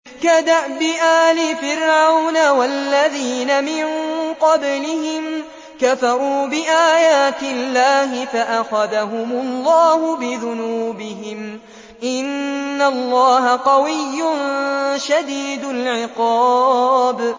كَدَأْبِ آلِ فِرْعَوْنَ ۙ وَالَّذِينَ مِن قَبْلِهِمْ ۚ كَفَرُوا بِآيَاتِ اللَّهِ فَأَخَذَهُمُ اللَّهُ بِذُنُوبِهِمْ ۗ إِنَّ اللَّهَ قَوِيٌّ شَدِيدُ الْعِقَابِ